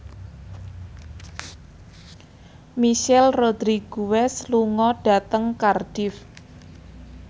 Michelle Rodriguez lunga dhateng Cardiff